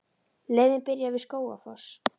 Leiðin byrjar við Skógafoss.